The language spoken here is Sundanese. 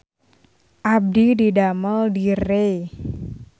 Abdi didamel di Rei